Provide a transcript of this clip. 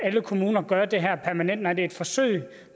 alle kommuner gøre det her permanent nej det er et forsøg